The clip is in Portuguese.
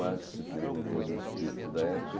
mas, você se perguntou do espírito da época.